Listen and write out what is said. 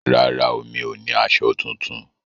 Rárá o, mi ò ní aṣọ tuntun